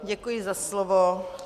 Děkuji za slovo.